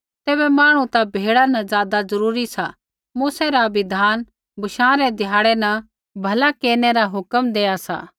तैबै मांहणु ता भेड़ा न ज़ादा ज़रूरी सा मूसै रा बिधान बशाँ रै ध्याड़ै न भला केरनै रा हुक्म देआ सा